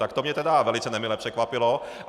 Tak to mě tedy velice nemile překvapilo.